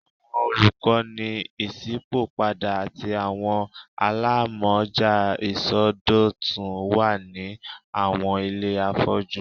Awọn olukọni iṣipopada ati awọn alamọja isọdọtun wa ni awọn ile afọju